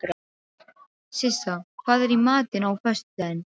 Sissa, hvað er í matinn á föstudaginn?